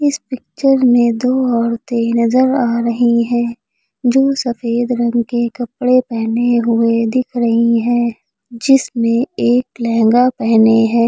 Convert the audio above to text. इस पिक्चर में दो औरतें नजर आ रही हैं जो सफेद रंग के कपड़े पहने हुए दिख रही हैं जिसमें एक लहंगा पहने है।